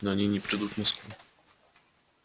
но они не придут в москву